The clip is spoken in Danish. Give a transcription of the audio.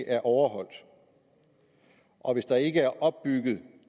er overholdt og hvis der ikke er opbygget